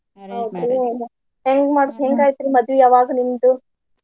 ಹೌದ್ರಿ ಹೆಂಗ ಮಾಡಿದ್ ಹೆಂಗ್ ಆಯ್ತ್ರೀ ಅವಾಗ ಮದ್ವಿ ನಿಮ್ದು?